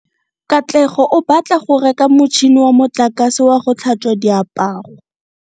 Katlego o batla go reka motšhine wa motlakase wa go tlhatswa diaparo.